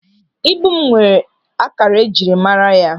Ibu m nwere ákàkà ejiri mara ya.